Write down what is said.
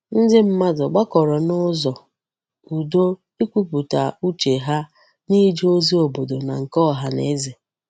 Ndi mmadu gbakoro n'uzo udo ikwuputa uche ha n'ije ozi obodo na nke ohaneze.